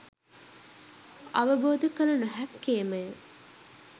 අවබෝධ කළ නොහැක්කේම ය